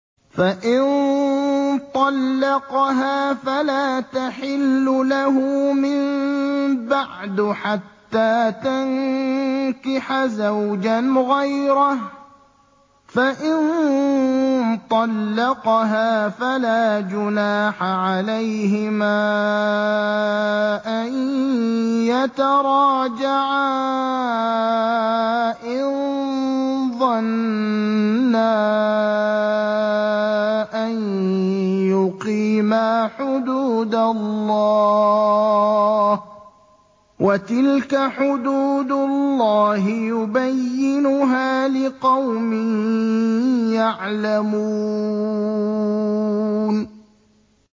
فَإِن طَلَّقَهَا فَلَا تَحِلُّ لَهُ مِن بَعْدُ حَتَّىٰ تَنكِحَ زَوْجًا غَيْرَهُ ۗ فَإِن طَلَّقَهَا فَلَا جُنَاحَ عَلَيْهِمَا أَن يَتَرَاجَعَا إِن ظَنَّا أَن يُقِيمَا حُدُودَ اللَّهِ ۗ وَتِلْكَ حُدُودُ اللَّهِ يُبَيِّنُهَا لِقَوْمٍ يَعْلَمُونَ